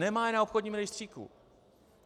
Nemá je na obchodním rejstříku.